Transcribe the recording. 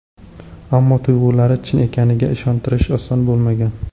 Ammo tuyg‘ulari chin ekaniga ishontirishi oson bo‘lmagan.